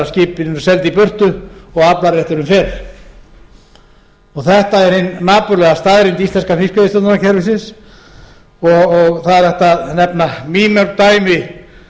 skipin eru seld í burtu ef aflarétturinn fer þetta er hin napurlega staðreynd íslenska fiskveiðistjórnarkerfisins og það er hægt að nefna mýmörg dæmi